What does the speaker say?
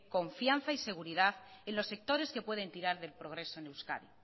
confianza y seguridad en los sectores que pueden tirar del progreso en euskadi